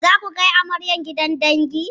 Zaku kai amaryar gidan dangi?